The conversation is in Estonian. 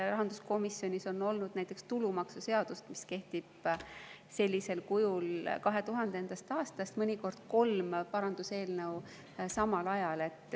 Rahanduskomisjonis on olnud näiteks tulumaksuseaduse puhul, mis kehtib sellisel kujul 2000. aastast, mõnikord kolm paranduseelnõu samal ajal.